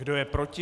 Kdo je proti?